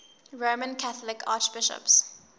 roman catholic archbishops